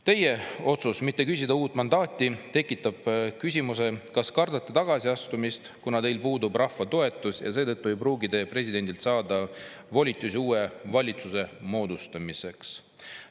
Teie otsus mitte küsida uut mandaati tekitab küsimuse, kas kardate tagasi astumist, kuna teil puudub rahva toetus ja seetõttu ei pruugi te presidendilt saada volitusi uue valitsuse moodustamiseks.